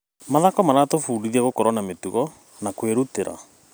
Mathako maratũbundithia gũkorwo na mĩtugo na kwĩrutĩra.